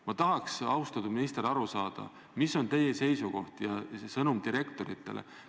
Ma tahaks, austatud minister, aru saada, mis on teie seisukoht ja sõnum direktoritele.